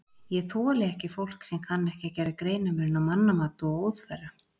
Ég þoli ekki fólk sem kann ekki að gera greinarmun á mannamat og óþverra.